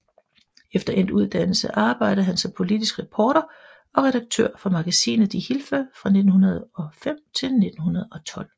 Efter endt uddannelse arbejdede han som politisk reporter og redaktør for magasinet Die Hilfe fra 1905 til 1912